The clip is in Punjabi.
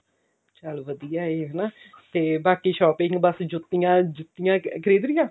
ਚਲ ਵਧੀਆ ਹੈ ਹਨਾ ਤੇ ਬਾਕੀ shopping ਬਸ ਜੁੱਤੀਆਂ ਜੁੱਤੀਆਂ ਖਰੀਦ ਲਈਆਂ